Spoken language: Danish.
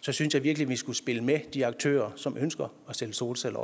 synes jeg virkelig at vi skulle spille med de aktører som ønsker at stille solceller